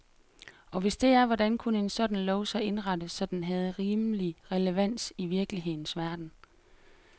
Og hvis det er, hvordan kunne en sådan lov så indrettes, så den havde rimelig relevans i virkelighedens verden.